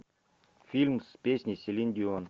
фильм с песней селин дион